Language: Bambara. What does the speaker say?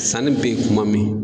Sanni bɛ ye kuma min